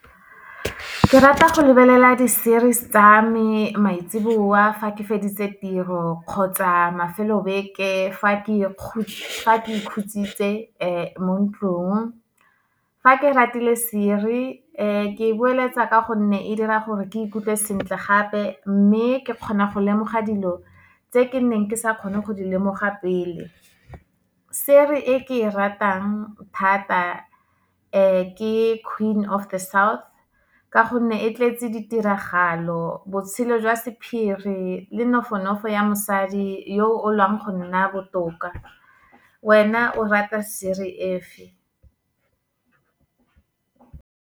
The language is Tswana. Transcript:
Ke rata go lebelela di-series tsa me maitsiboa, fa ke feditse tiro kgotsa mafelo beke fa ke ikhutsitse mo ntlong. Fa ke ratile serie, ke e boeletsa ka gonne e dira gore ke ikutlwe sentle gape, mme ke kgona go lemoga dilo tse ke neng ke sa kgone go di lemoga pele. Serie e ke e ratang thata, ke Queen of the South ka gonne, e tletse ditiragalo, botshelo jwa sephiri le nofonofo ya mosadi, yo o lwang go nna botoka. Wena o rata siries e feng?